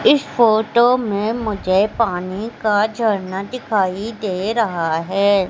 इस फोटो में मुझे पानी का झरना दिखाई दे रहा है।